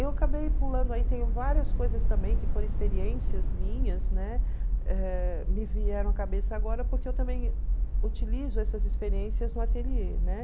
Eu acabei pulando aí, tem várias coisas também que foram experiências minhas, né, eh me vieram à cabeça agora, porque eu também utilizo essas experiências no ateliê, né?